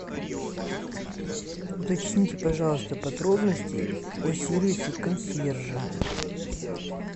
уточните пожалуйста подробности о сервисе консьержа